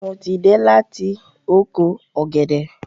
Mo ti de láti oko ògèdè